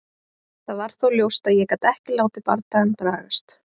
Það var þó ljóst að ég gat ekki látið bardagann dragast.